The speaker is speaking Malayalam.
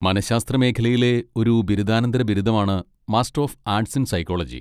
മനഃശാസ്ത്ര മേഖലയിലെ ഒരു ബിരുദാനന്തര ബിരുദമാണ് master of arts in psychology.